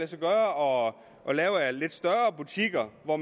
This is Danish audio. sig gøre at lave af lidt større butikker hvor